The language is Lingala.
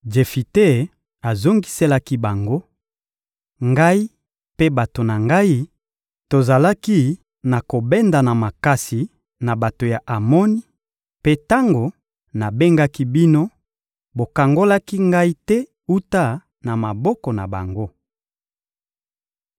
Jefite azongiselaki bango: — Ngai mpe bato na ngai, tozalaki na kobendana makasi na bato ya Amoni; mpe tango nabengaki bino, bokangolaki ngai te wuta na maboko na bango.